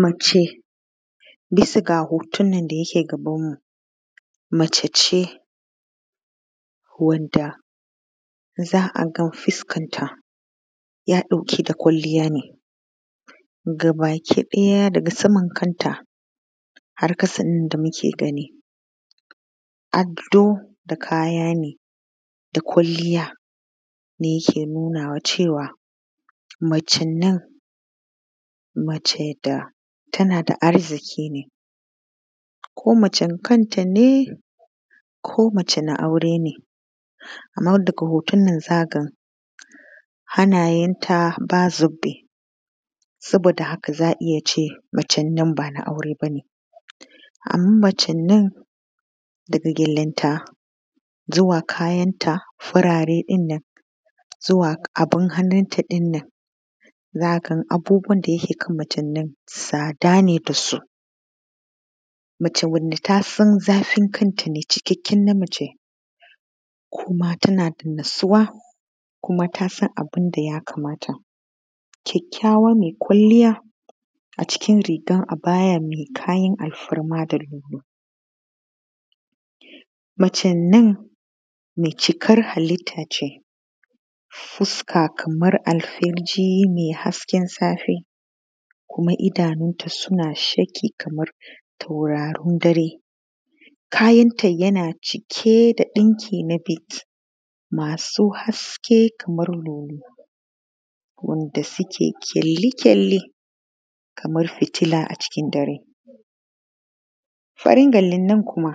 Mace bisa ga hotunan da yake gabanmu, mace ce wanda za aga fuskarta yana ɗauke da kwalliya ne za a ga gaba ki ɗaya har saman kanta har ƙasa da muke gani ado da kaya ne da kwalliya ne yake nuna cewa macen nan mace da take da arki ne ko mace kanta ne ko mace na aure ne. Amma daga hoton nan za a ga hannayenta ba zobe. Saboda haka za a ga ne macen nan ba na aure ba ne. Amma macen nan daga gyalen nan zuwa kayanta farare ɗin nan zuwa abun hannun ta ɗin nan za a ga macen nan tsada ne da su, macen da ta san zafin kanta ita ne cikakkiyar mace kuma tana da natsuwa tasan abun da ya kamata. Ƙyaƙƙyawa mai kwalliya a ciki rigar abaya mai kayan alfarma da lulu. Macen nan mai cikar halitta ce, fuska kamar alfijir na hasken safe kuma idanunta suna sheƙi kamar taurarin dare. kayanta yana cike da ɗinki masu haske kamar nono da duke ƙyali-ƙyali kamar fitila a cikin dare. Farin gyalen nan kuma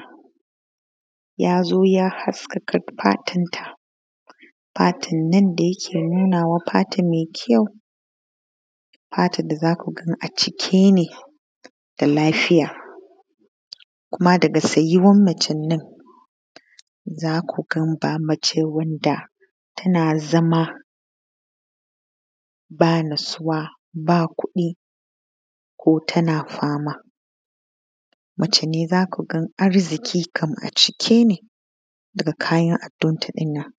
ya zo ya haskaka fatan ta fatan nan da yake nunawa fatan mai ƙyau. Fatan da za ku gani a cike ne da lafiya kuma daga tsayuwar macen na. Za ku ga ba macen wanda tana ba natsuwa ba kuɗi ko tana fama. Mace ne za ku ga arziki ne a cike daga kayan abinta adonta ɗin nan.